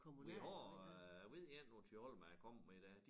Vi har øh ved én på Thyholm er kommet med i dag